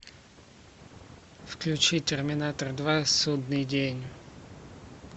включи терминатор два судный день